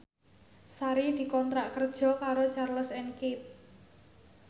Sari dikontrak kerja karo Charles and Keith